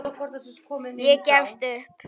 Ég gefst upp